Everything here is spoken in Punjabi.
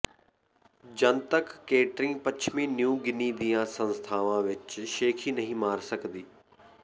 ਜਨਤਕ ਕੇਟਰਿੰਗ ਪੱਛਮੀ ਨਿਊ ਗਿਨੀ ਦੀਆਂ ਕਈ ਸੰਸਥਾਵਾਂ ਵਿੱਚ ਸ਼ੇਖ਼ੀ ਨਹੀਂ ਮਾਰ ਸਕਦੀ